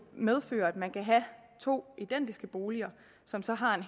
medføre at man kunne have to identiske boliger som så har